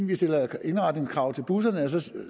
vi stiller indretningskrav til busserne og så